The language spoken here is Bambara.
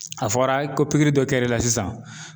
A fɔra ko pikiri dɔ kɛr'e la sisan